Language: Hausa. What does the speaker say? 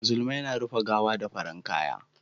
musulmai na rufe gawa da farin kaya